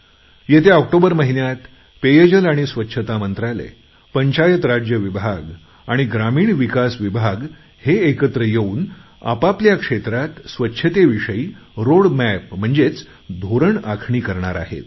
येत्या ऑक्टोबर महिन्यात पेयजल आणि स्वच्छता मंत्रालय पंचायत राज्य विभाग ग्रामीण विकास विभाग हे एकत्र येऊन आपापल्या क्षेत्रात स्वच्छतेविषयी आराखडा तयार करणार आहेत